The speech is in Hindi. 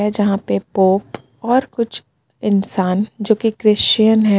जहां पे पोप और कुछ इंसान जो की क्रिश्चियन है.